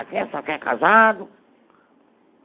Aqui é só quem é casado.